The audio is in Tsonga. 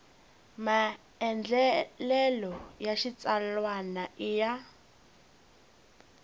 maandlalelo ya xitsalwana i ya